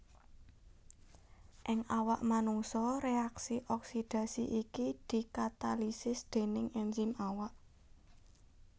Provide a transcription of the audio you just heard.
Ing awak manungsa reaksi oksidadi iki dikatalisis déning enzim awak